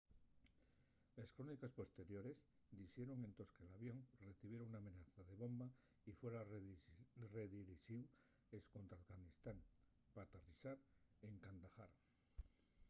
les cróniques posteriores dixeron entós que l’avión recibiera una amenaza de bomba y fuera redirixíu escontra afganistán p'aterrizar en kandahar